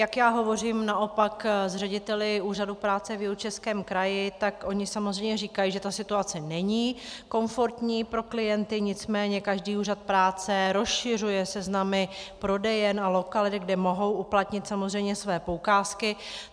Jak já hovořím naopak s řediteli úřadů práce v Jihočeském kraji, tak oni samozřejmě říkají, že ta situace není komfortní pro klienty, nicméně každý úřad práce rozšiřuje seznamy prodejen a lokalit, kde mohou uplatnit samozřejmě svoje poukázky.